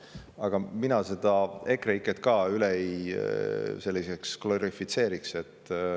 Aga mina seda EKREIKE-t üle ka ei glorifitseeriks.